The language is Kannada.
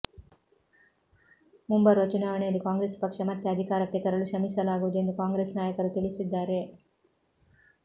ಮುಂಬರುವ ಚುನಾವಣೆಯಲ್ಲಿ ಕಾಂಗ್ರೆಸ್ ಪಕ್ಷ ಮತ್ತೆ ಅಧಿಕಾರಕ್ಕೆ ತರಲು ಶ್ರಮಿಸಲಾಗುವುದು ಎಂದು ಕಾಂಗ್ರೆಸ್ ನಾಯಕರು ತಿಳಿಸಿದ್ದಾರೆ